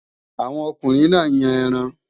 Àwọn ọkùnrin náà ń yàn ẹran